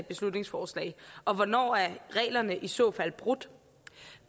beslutningsforslag og hvornår er reglerne i så fald brudt